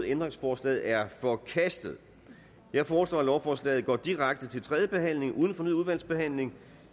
ændringsforslaget er forkastet jeg foreslår at lovforslaget går direkte til tredje behandling uden fornyet udvalgsbehandling